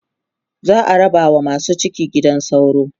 za'a raba wa masu ciki gidan sauro